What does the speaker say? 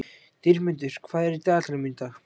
Dýrmundur, hvað er í dagatalinu mínu í dag?